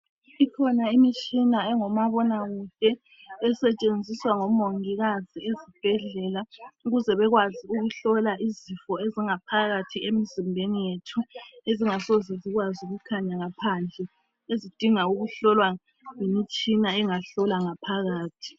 Ikhona imitshina engumabona kude, esetshenziswa ngomongikazi ezibhedlela. Ukuze bekwazi ukuhlola izifo ezingaphakathi emzimbeni yethu. Ezingasoze zikwazi ukukhanya ngaphandle. Ezidinga ukuhlolwa yimitshina , engasihlola ngaphakathi.